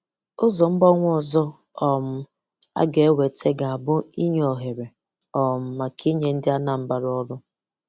Ụzọ mgbanwe ọzọ um ọ ga-eweta ga-abụ inye ohere um maka inye ndị Anambra ọrụ.